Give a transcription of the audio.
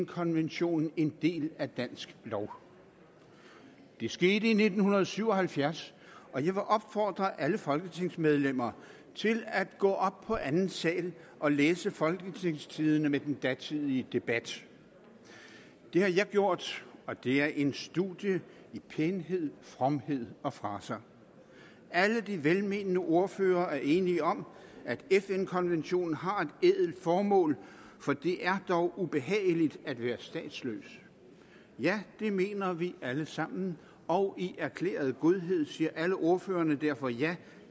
konventionen en del af dansk lov det skete i nitten syv og halvfjerds og jeg vil opfordre alle folketingsmedlemmer til at gå op på anden sal og læse folketingstidende med den datidige debat det har jeg gjort og det er en studie i pænhed fromhed og fraser alle de velmenende ordførere er enige om at fn konventionen har et ædelt formål for det er dog ubehageligt at være statsløs ja det mener vi alle sammen og i erklæret godhed siger alle ordførerne derfor ja